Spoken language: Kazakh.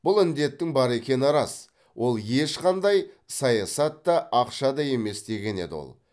бұл індеттің бар екені рас ол ешқандай саясат та ақша да емес деген еді ол